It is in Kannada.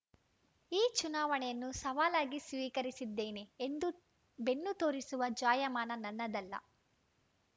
ಈ ಚುನಾವಣೆಯನ್ನು ಸವಾಲಾಗಿ ಸ್ವೀಕರಿಸಿದ್ದೇನೆ ಎಂದೂ ಬೆನ್ನು ತೋರಿಸುವ ಜಾಯಮಾನ ನನ್ನದಲ್ಲ